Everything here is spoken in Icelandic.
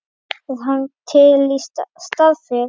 Er hann til í starfið?